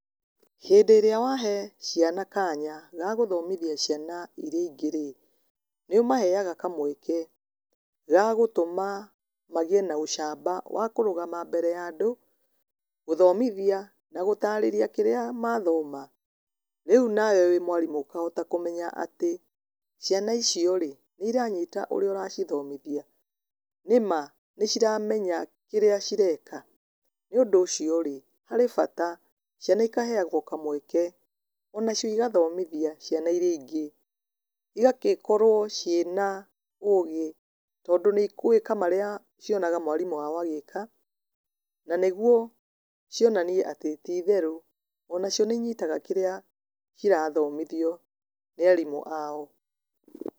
Hĩndĩ ĩrĩa wahe ciana kanya ga gũthomithia ciana irĩa ingĩ rĩ, nĩ ũmaheaga kamweke ga gũtũma magĩe na ũcamba wa kũrũgama mbere ya andũ, gũthomithia na gũtaarĩria kĩrĩa mathoma. Rĩu nawe wĩ mwarimũ ũkahota kũmenya atĩ, ciana icio rĩ nĩ iranyita ũrĩa ũracithomithia? Nĩma nĩ ciramenya kĩrĩa cireka? Nĩ ũndũ ũcio rĩ harĩ bata ciana ikaheagwo kamweke ona cio igathomithia ciana irĩa ingĩ. Igagĩkorwo ciĩna ũgĩ tondũ nĩ igwĩka marĩa cionaga mwarimũ wao agĩka, na nĩguo cionanie atĩ ti itherũ ona cio nĩ inyitaga kĩrĩa kĩrathomithio nĩ arimũ ao.